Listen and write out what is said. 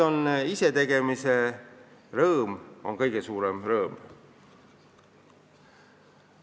Isetegemise rõõm on kõige suurem rõõm.